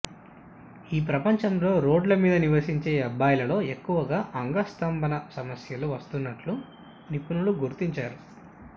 ఈ ప్రపంచంలో రోడ్ల మీద నివసించే అబ్బాయిలలో ఎక్కువగా అంగ స్తంభన సమస్యలు వస్తున్నట్లు నిపుణులు గుర్తించారు